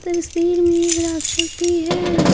तस्वीर में एक राक्षस भी है।